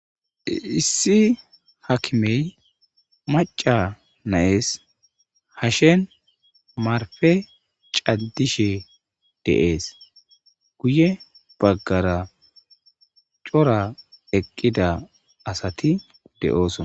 issi hakimey macca nayees hashen marfe caddishe dees guye baggara cora eqqida asati de7oosona